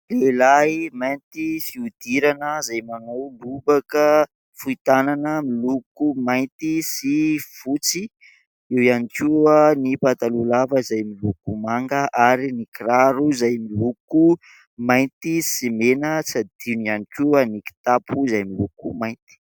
Lehilahy mainty fihodirana izay manao lobaka fohy tanana miloko mainty sy fotsy. Eo ihany koa ny pataloha lava izay miloko manga ary ny kiraro izay miloko mainty sy mena, tsy adino ihany koa ny kitapo izay miloko mainty.